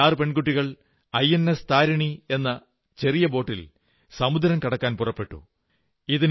ഈ 6 പെൺകുട്ടികൾ ഐഎൻഎസ് താരിണി എന്ന ഒരു ചെറിയ ബോട്ടിൽ സമുദ്രം കടക്കാൻ പുറപ്പെട്ടു